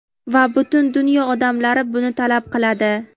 Va butun dunyo odamlari buni talab qiladi.